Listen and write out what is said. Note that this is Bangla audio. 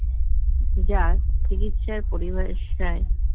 যা চিকিৎসার পরিভাষায় যাক